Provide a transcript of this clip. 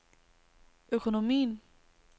økonomien